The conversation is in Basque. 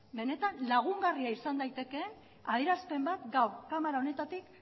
benetan lagungarria izan daiteke adierazpen bat gaur kamara honetatik